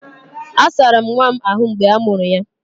A asara'm nwa m ahu mgbe a mụrụ ya